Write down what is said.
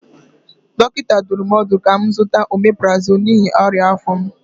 Dọkịta dụrụ m ọdụ ka m zụta ọmeprazọlụ n'ihi ọnya afọ m.